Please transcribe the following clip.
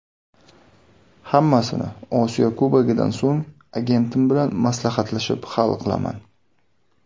Hammasini Osiyo Kubogidan so‘ng agentim bilan maslahatlashib, hal qilaman”.